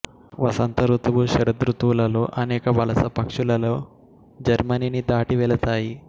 వసంత ఋతువు శరదృతువులలో అనేక వలస పక్షులు లలో జర్మనీని దాటి వెళతాయి